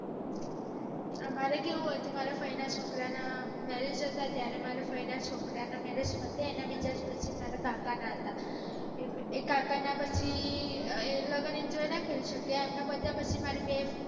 અમારે કેવું હતું મારા ફઈ ના છોકરા ના marriage હતા ત્યારે મારા ફઈ ના છોકરા ના marriage પતે એના બે દિવસે મારા કાકા ના હતા એ કાકા ના પછ લગ્ન enjoy ના કરી શક્યા એમના પત્યા પછી મારી બે